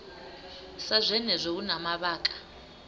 sa zwenezwo hu na mavhaka